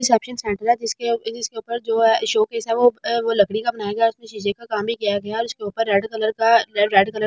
जिसके ऊपर जो है शोकेस है वो लकड़ी का बनाया गया है उसमे शीशे का काम भी किया गया है इसके ऊपर रेड कलर का रेड --